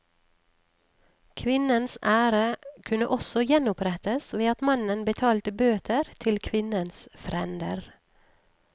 Kvinnens ære kunne også gjenopprettes ved at mannen betalte bøter til kvinnens frender.